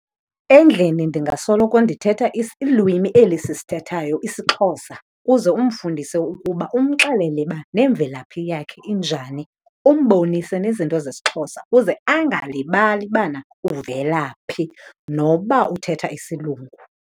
Endlini ndingasoloko ndithetha ilwimi eli sisithethayo, isiXhosa, kuze umfundise ukuba umxelele uba nemvelaphi yakhe injani, umbonise nezinto zesiXhosa kuze angalibali bana uvela phi noba uthetha isiLungu.